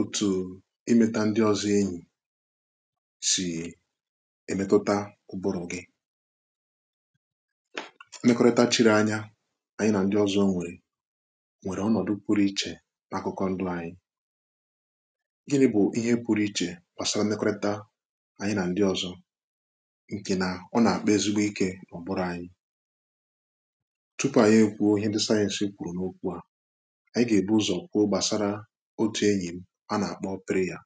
òtù ịmeta ndị ozi enyi̇ sì èmetata ụbụrụ gị nnekọrịta chịrị anya ànyị na ndị ọzọ nwèrè nwèrè ọnọ̀dụ kwụrụ ichè n’akụkụ ndụ anyị ihe nà-ebu ihe kwụrụ ichè kwàsara nnekọrịta ànyị nà ndị ọzọ ǹkè nà ọ nà-àkpa ezigbo ike n’ọ̀bụrụ anyị tupu ànyị ekwò ihe dị sayẹ̇ǹsɪ kwùrù n’okwu à otu enyì m, a nà-àkpọ pịrị ya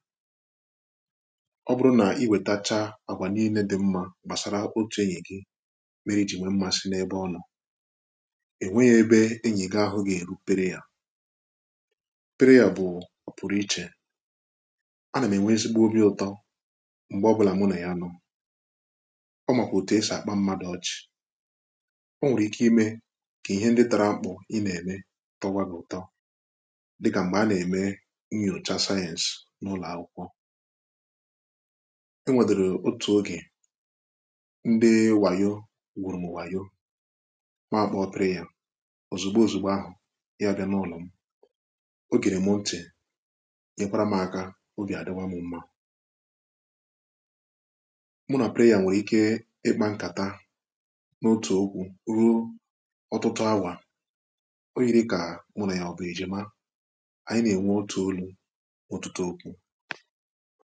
ọ bụrụ nà i wètacha àgwà niilė dị mmȧ gbàsara otù enyì gị mere iji̇ nwèe mmasị n’ebe ọlà è nwe yȧ ebe enyì gị ahụ gà-èru pịrị yȧ pịrị yȧ bụ̀ ọ̀pụrụ ichè a nà-enweghị nsịkpa obi̇ ụtọ m̀gbè ọbụlà mụnọ̀ ya anọ ọ màkà òtù esì àkpa mma dị ọchị̇ o nwèrè ike imė kà ihe ndị tara mkpụ̀ ịnà-ème tọgwa gị ụtọ ǹgà-ẹmẹ ǹnyòcha sayẹǹs n’ụlọ̀ akwụkwọ ẹnwẹdẹrẹ otù ogè ndị nwànyọ wụrụ m nwànyọ maà kpọ̀ pịrị yà òzìgbo òzìgbo ahụ̀ ya bịa n’ụlọ̀ m ogè nà-emȧ ntị nye nwẹkwàrà m ȧkȧ o gị à dịwa m mma mụ nà pịrị yà nwèrè ike ịkpȧ nkà ta n’otù okwu ruru ọtụtụ awà onye dị kà mụ nà ya ọbụ eji ma ọ̀tụtụ okwu